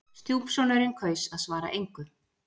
Stjúpsonurinn kaus að svara engu.